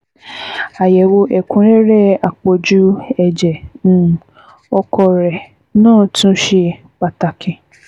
Àyẹ̀wò ẹ̀kúnrẹ́rẹ́ àpọ̀jù ẹ̀jẹ̀ um ọkọ rẹ náà tún ṣe pàtàkì